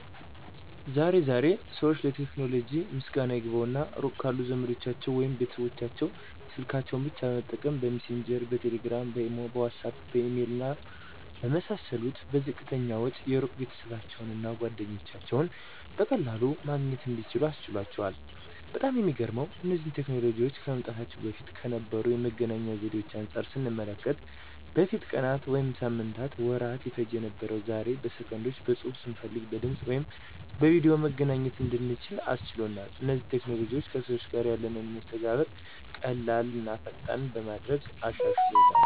ዛሬ ዛሬ ሰዎች ለቴክኖሎጂ ምስጋና ይግባውና ሩቅ ካሉ ዘመዶቻቸው ወይም ቤተሰቦቻቸው ስልካቸውን ብቻ በመጠቀም :- በሚሴንጀር፣ በቴሌግራም፣ በኢሞ፣ በዋትስአፕ፣ በኢሜል እና በመሳሰሉት በዝቅተኛ ወጪ የሩቅ ቤተሰባቸውን እና ጓደኞቻቸውን በቀላሉ ማግኘት እንዲችሉ አስችሏል። በጣም የሚገርመው እነዚህ ቴክኖሎጂዎች ከመምጣታቸው በፊት ከነበሩ የመገናኛ ዘዴዎች አንጻር ስንመለከተው በፊት ቀናት ወይም ሳምንታትና ወራት ይፈጅ የነበረው ዛሬ ላይ በሰከንዶች በፅሁፍ፣ ስንፈልግ በድምፅ ወይም በቪድዮ መገናኘት እንድንችል አስችሏል። እነዚህ ቴክኖሎጂዎችም ከሰዎች ጋር ያለንን መስተጋብር ቀላል ቀላልና ፈጣን በማድረግ አሻሽሎታል።